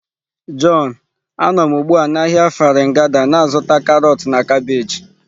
John, a nọ m ugbu a na ahịa Farin Gada na-azụta karọt na kabeeji.